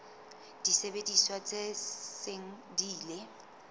disebediswa tse seng di ile